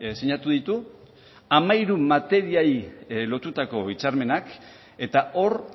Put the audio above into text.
sinatu ditu hamairu materiei lotutako hitzarmenak eta hor